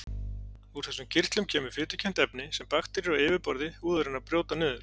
Úr þessum kirtlum kemur fitukennt efni sem bakteríur á yfirborði húðarinnar brjóta niður.